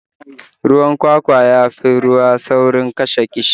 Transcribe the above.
Ruwan kwakwa ya fi ruwa saurin kashe ƙishirwa